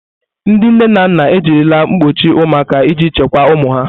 Ndị nne na nna ejirila mkpọchi ụmụaka iji chekwaa ụmụ ha.